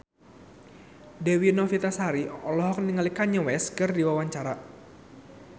Dewi Novitasari olohok ningali Kanye West keur diwawancara